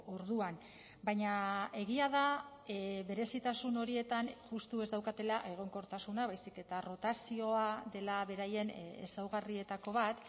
orduan baina egia da berezitasun horietan justu ez daukatela egonkortasuna baizik eta rotazioa dela beraien ezaugarrietako bat